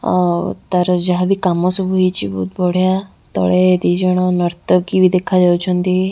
ଓ ତାର ଯାହାବି କାମ ସବୁ ହେଇଛି ବହୁତ୍ ବଢିଆ ତଳେ ଦି ଜଣ ନର୍ତ୍ତକୀ ବି ଦେଖାଯାଉଛନ୍ତି।